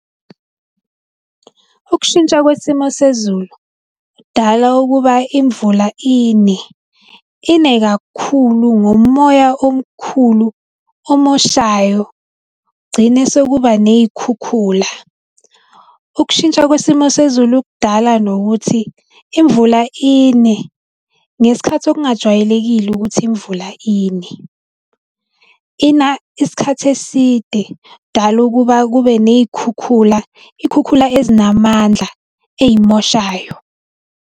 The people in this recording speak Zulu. Ukushintsha kwesimo sezulu k'dala ukuba imvula ine, ine kakhulu ngomoya omkhulu omoshayo kugcine sekuba ney'khukhula. Ukushintsha isimo sezulu kudala nokuthi imvula ine ngesikhathi okungajwayelekile ukuthi imvula ine. Ina isikhathi eside, kudala ukuba kube ney'khukhula, iy'khukhula ezinamandla ey'moshayo.